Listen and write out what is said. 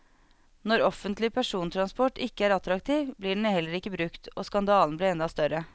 Når offentlig persontransport ikke er attraktiv, blir den heller ikke brukt, og skandalen blir enda større.